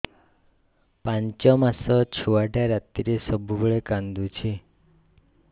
ପାଞ୍ଚ ମାସ ଛୁଆଟା ରାତିରେ ସବୁବେଳେ କାନ୍ଦୁଚି